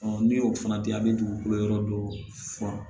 ni y'o fana di a bɛ dugukolo yɔrɔ dɔ furan